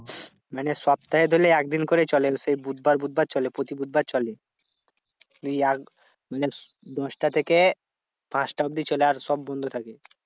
মানে সপ্তাহে ধরলে একদিন করে চলে সেই বুধবার বুধবার চলে প্রতি বুধবার চলে। তুই আগে মানে দশটা থেকে পাঁচটা অব্ধি চলে, আর সব বন্ধ থাকে।